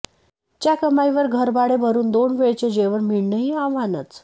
च्या कमाईवर घरभाडे भरून दोन वेळचे जेवण मिळणेही आव्हानच